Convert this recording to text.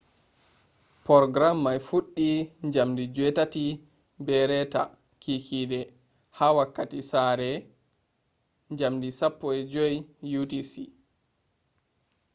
porgaram mai fuɗɗi jamdi 8:30 p.m. ha wakkati sare 15.00 utc